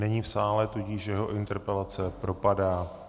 Není v sále, tudíž jeho interpelace propadá.